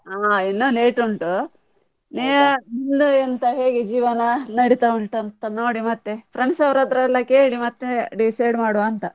ಹಾ ಇನ್ನು late ಉಂಟು, ನೀವು ನಿಮ್ದು ಎಂತ ಹೇಗೆ ಜೀವನ ನಡೀತಾ ಉಂಟು ಅಂತ ನೋಡಿ ಮತ್ತೆ friends ಅವರತ್ರಯೆಲ್ಲ ಕೇಳಿ ಮತ್ತೆ decide ಮಾಡುವಾ ಅಂತ.